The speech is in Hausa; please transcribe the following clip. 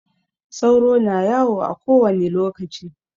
Sauro na yawo a kowani lokaci.